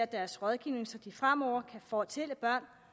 deres rådgivning så de fremover kan fortælle børn